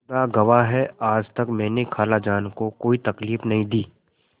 खुदा गवाह है आज तक मैंने खालाजान को कोई तकलीफ नहीं दी